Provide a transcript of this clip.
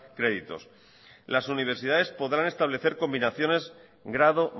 créditos las universidades podrán establecer combinaciones grado